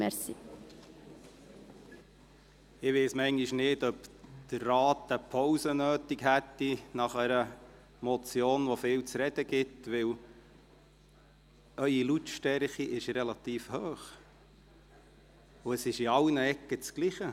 Ich weiss manchmal nicht, ob der Rat eine Pause nötig hätte nach einer Motion, die viel zu reden gibt, denn Ihre Lautstärke ist relativ hoch, und es ist in allen Ecken dasselbe: